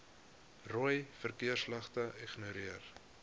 rooi verkeersligte ignoreer